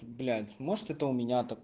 блять может это у меня так